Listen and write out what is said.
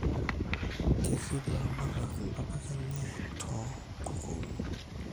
Kerip ilaramatak ntapuka enye too nkukunik